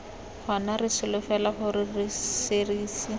gona re solofela gore serisi